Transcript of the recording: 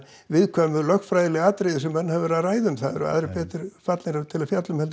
viðkvæmu lögfræðilegu atriði sem menn hafa verið að ræða það eru aðrir betur fallnir til að fjalla um heldur